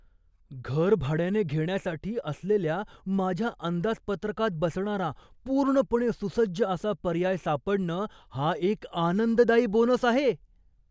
घर भाड्याने घेण्यासाठी असलेल्या माझ्या अंदाजपत्रकात बसणारा पूर्णपणे सुसज्ज असा पर्याय सापडणं हा एक आनंददायी बोनस आहे.